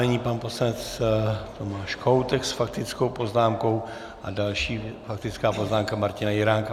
Nyní pan poslanec Tomáš Kohoutek s faktickou poznámkou a další faktická poznámka Martina Jiránka.